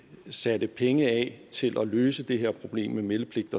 satte penge af til at løse det her problem med meldepligt